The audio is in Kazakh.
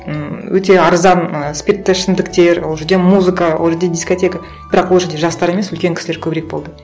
ммм өте арзан ы спиртті ішімдіктер ол жерде музыка ол жерде дискотека бірақ ол жерде жастар емес үлкен кісілер көбірек болды